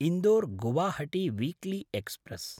Indore-Guwahati weekly express